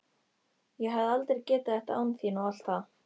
Ég hefði aldrei getað þetta án þín og allt það.